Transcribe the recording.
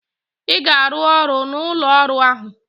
Ha ga-arụ ọrụ n'ụlọ ọrụ ahụ!